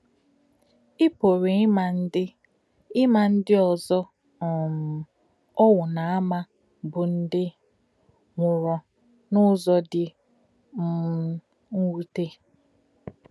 Í pù̄rụ̄ ímà̄ ndí̄ ímà̄ ndí̄ òzò̄ um òwù̄ nā-ámà̄ bụ́ ndí̄ nwù̄rù̄ n’ụ́zọ̀ dị̄ um mwútè̄.